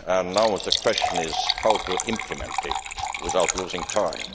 Now the question is how to implement it without losing time.